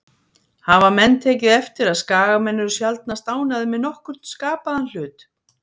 Hafa menn tekið eftir að Skagamenn eru sjaldnast ánægðir með nokkurn skapaðan hlut?